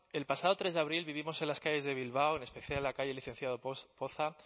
el pasado tres de abril vivimos en las calles de bilbao en especial la calle licenciado poza